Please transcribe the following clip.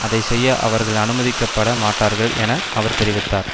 அதை செய்ய அவர்கள் அனுமதிக்கப்பட மாட்டார்கள் என அவர் தெரிவித்தார்